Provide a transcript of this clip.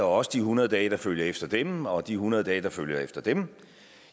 også de hundrede dage der følger efter dem og de hundrede dage der følger efter dem